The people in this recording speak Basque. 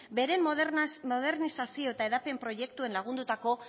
bere modernizazio eta hedapen proiektuen lagundutako